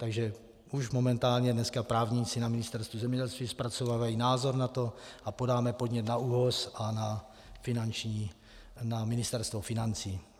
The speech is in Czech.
Takže už momentálně dneska právníci na Ministerstvu zemědělství zpracovávají názor na to a podáme podnět na ÚOHS a na Ministerstvo financí.